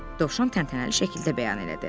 Dovşan təntənəli şəkildə bəyan elədi.